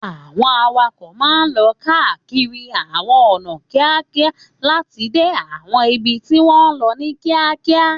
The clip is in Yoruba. Àwọn awakọ̀ máa ń lọ káàkiri àwọn ọ̀nà kíákíá láti dé àwọn ibi tí wọ́n ń lọ ní kíákíá.